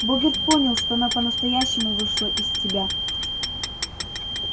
богерт понял что она по-настоящему вышла из себя